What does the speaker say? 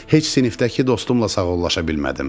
Heç sinifdəki dostumla sağollaşa bilmədim.